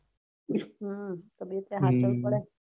હમ તે હાચવવું પડેન.